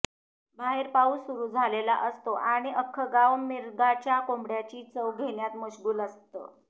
बाहेर पाउस सुरू झालेला असतो आणि अख्खं गाव मिरगाच्या कोंबड्याची चव घेण्यात मशगुल असतं